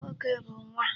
Nwoke bụ nwa.